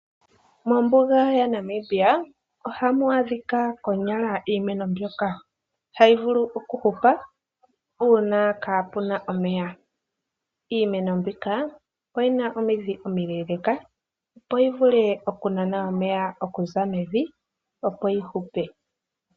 Mombuga yaNamibia ohamu adhika konyala iimeno mbyoka hayi vulu okuhupa uuna kaapu na omeya. Iimeno mbika oyi na omidhi omileeleka, opo yi vulu okunana omeya okuza mevi, opo yi hupe.